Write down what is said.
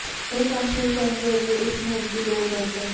ਇਹ ਕੰਮ ਸ਼ੁਰੂ ਕਰਨ ਦੇ ਅੱਗੇ ਇਸ ਨੂੰ ਉਸਦੀ ਲੋੜ ਦੱਸਦਾ ਹੈ